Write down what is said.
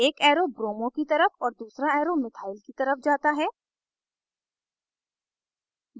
एक arrow bromo br की तरफ और दूसरा arrow methyl methyl ch3 की तरफ जाता है